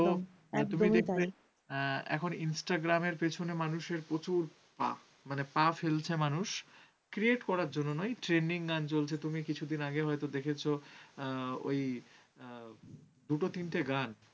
এখন instagram এর পেছনে মানুষের প্রচুর পা মানে পা ফেলছে মানুষ create করার জন্য নয় trending চলছে। তুমি কিছুদিন আগে হয়তো দেখেছ ঐ দুইটা তিনটা গান।